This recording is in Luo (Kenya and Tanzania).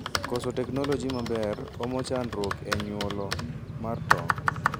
Koso technolgy mber omo chandruok e nyuolo mar tong